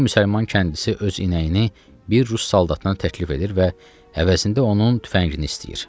Bir müsəlman kəndlisi öz inəyini bir rus saldatına təklif edir və əvəzində onun tüfəngini istəyir.